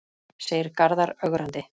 segir Garðar ögrandi.